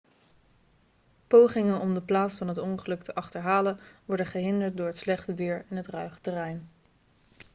pogingen om de plaats van het ongeluk te achterhalen worden gehinderd door het slechte weer en het ruige terrein